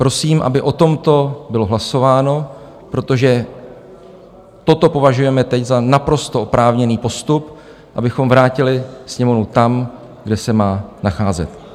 Prosím, aby o tomto bylo hlasováno, protože toto považujeme teď za naprosto oprávněný postup, abychom vrátili Sněmovnu tam, kde se má nacházet.